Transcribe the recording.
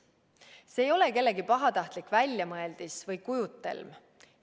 See ei ole kellegi pahatahtlik väljamõeldis või kujutelm.